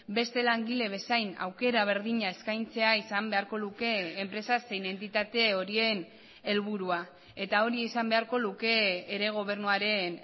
beste langile bezain aukera berdina eskaintzea izan beharko luke enpresa zein entitate horien helburua eta hori izan beharko luke ere gobernuaren